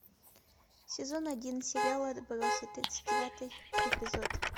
сезон один сериал отбросы тридцать девятый эпизод